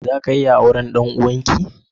Zaku iya auren ɗan uwanki?